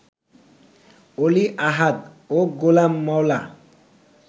অলি আহাদ ও গোলাম মওলা